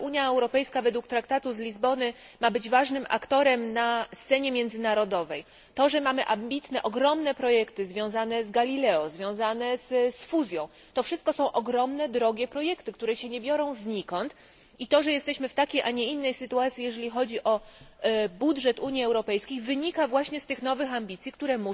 To, że Unia Europejska według traktatu z Lizbony ma być ważnym aktorem na scenie międzynarodowej, to że mamy ambitne ogromne projekty związane z Galileo, związane z fuzją to wszystko są ogromne, drogie projekty, które się nie biorą z nikąd, i to, że jesteśmy w takiej a nie innej sytuacji jeżeli chodzi o budżet Unii Europejskiej wynika właśnie z tych nowych ambicji, które